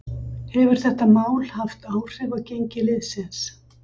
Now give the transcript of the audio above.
Hefur þetta mál haft áhrif á gengi liðsins?